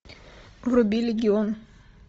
вруби легион